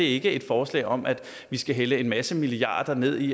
ikke et forslag om at vi skal hælde en masse milliarder ned i